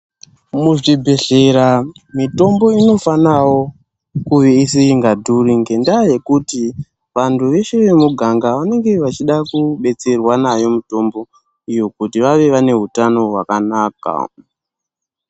Muzvibhedhleya mitombo inofanawo kuve isikadhuri ngendaa yekuti vantu veshe vemuganga vanenge vachida kubatsirwa nayo mitomboyo kuti vave vane utano hwakanaka.